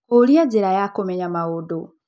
Kũũria nĩ njĩra ya kũmenya maũndũ.